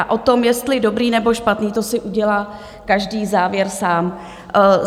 A o tom, jestli dobrý, nebo špatný, to si udělá každý závěr sám.